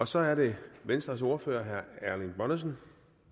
så er det venstres ordfører herre erling bonnesen